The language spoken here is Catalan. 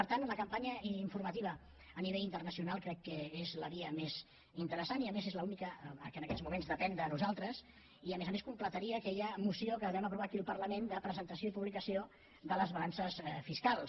per tant la campanya informativa a nivell internacional crec que és la via més interessant i a més és l’única que en aquests moments depèn de nosaltres i a més a més completaria aquella moció que vam aprovar aquí al parlament de presentació i publicació de les balances fiscals